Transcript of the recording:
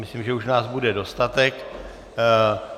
Myslím, že už nás bude dostatek.